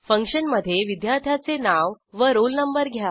function मधे विद्यार्थ्याचे नाव व रोल नंबर घ्या